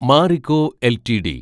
Marico LTD